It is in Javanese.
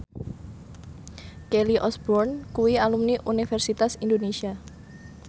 Kelly Osbourne kuwi alumni Universitas Indonesia